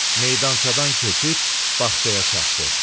Meydançadan keçib bağçaya çatdı.